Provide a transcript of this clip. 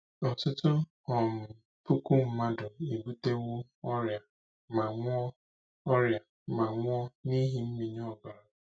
Ọtụtụ um puku mmadụ ebutewo ọrịa ma nwụọ ọrịa ma nwụọ n'ihi mmịnye ọbara.